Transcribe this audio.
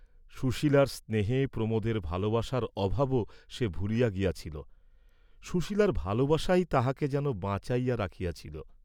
সূশীলার স্নেহে প্রমোদের ভালবাসার অভাবও সে ভুলিয়া গিয়াছিল, সুশীলার ভালবাসাই তাহাকে যেন বাঁচাইয়া রাখিয়াছিল।